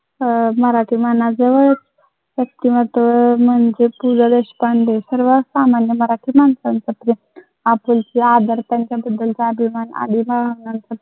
मराठी मानाचं व्यक्तिमत्त्व म्हणजे पु ल देशपांडे सर्व सामान्य मराठी माणसंच प्रेम आपुलकी बद्दलचा अभिमान